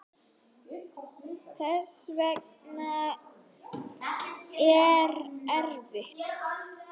Þetta hefur verið erfitt.